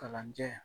Kalanjɛ